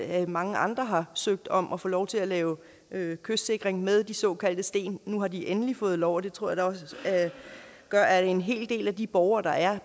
at mange andre har søgt om at få lov til at lave kystsikring med de såkaldte sten nu har de endelig fået lov og det tror jeg da også gør at en hel del af de borgere der er